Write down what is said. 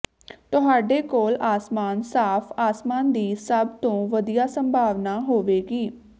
ਤੁਹਾਡੇ ਕੋਲ ਆਸਮਾਨ ਸਾਫ ਆਸਮਾਨ ਦੀ ਸਭ ਤੋਂ ਵਧੀਆ ਸੰਭਾਵਨਾ ਹੋਵੇਗੀ